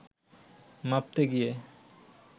মাপতে গিয়ে